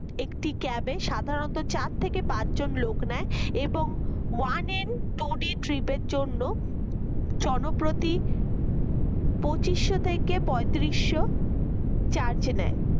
একটি cab সাধারণত চার থেকে পাঁচ জন লোক নেয় এবং one and woody trip জন্য জনপ্রতি পঁচিশো থেকে পঁয়ত্রিশো charge নেয়